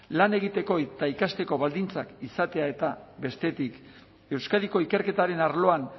lan egiteko eta ikasteko baldintzak izatea eta bestetik euskadiko ikerketaren arloan